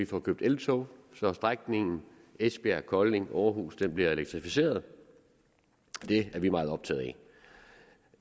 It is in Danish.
får købt eltog så strækningen esbjerg kolding aarhus bliver elektrificeret det er vi meget optaget af